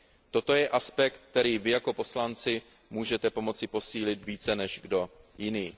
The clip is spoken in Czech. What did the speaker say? Toto je aspekt, který vy jako poslanci můžete pomoci posílit více než kdo jiný.